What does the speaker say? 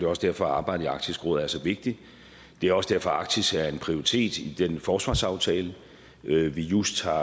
også derfor at arbejdet i arktisk råd er så vigtigt det er også derfor at arktis er en prioritet i den forsvarsaftale vi vi just har